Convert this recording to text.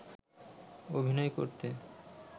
অভিনয় করতে